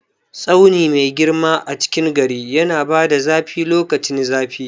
Tsauni mai girma a cikin gari yana bada zafi lokacin zafi.